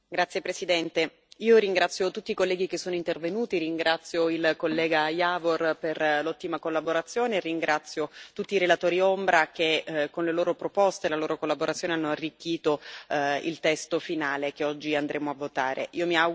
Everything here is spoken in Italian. Signor Presidente, onorevoli colleghi, ringrazio tutti i colleghi che sono intervenuti, ringrazio il collega Jávor per l'ottima collaborazione e ringrazio tutti i relatori ombra che, con le loro proposte e la loro collaborazione, hanno arricchito il testo finale che oggi andremo a votare.